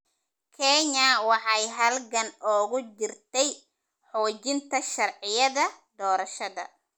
Kenya waxay halgan ugu jirtay xoojinta sharciyada doorashada.